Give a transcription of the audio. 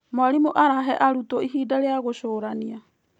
mwarimũ arahe arutwo ihinda rĩa gũcũrania.